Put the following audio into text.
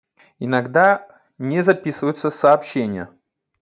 иногда не записываются сообщения